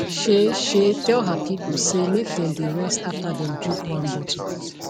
shey shey tell her people say make them dey rest after them drink one bottle